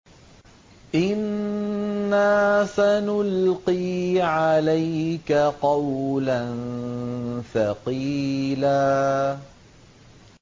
إِنَّا سَنُلْقِي عَلَيْكَ قَوْلًا ثَقِيلًا